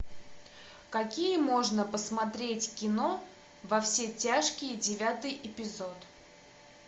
какие можно посмотреть кино во все тяжкие девятый эпизод